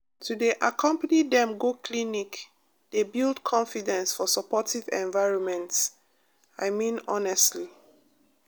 to dey accompany dem go clinic dey build confidence for supportive environments i mean honestly